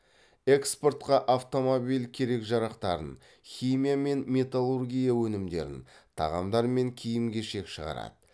экспортқа автомобиль керек жарақтарын химия мен металлургия өнімдерін тағамдар мен киім кешек шығарады